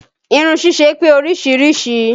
Irun ṣíṣe pé oríṣiríṣìí